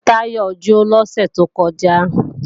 Bọ́ọ̀bù Táyọ jó lọ́sẹ̀ tó kọjá